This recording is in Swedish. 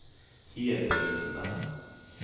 Hedesunda